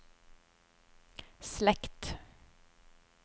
slekt